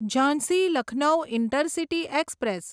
Jhansi Lucknow intercity express